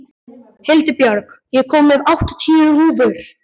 Hildibjörg, ég kom með áttatíu húfur!